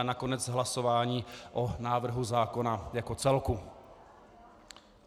A nakonec hlasování o návrhu zákona jako celku.